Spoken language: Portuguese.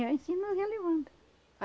E assim nós ia levando.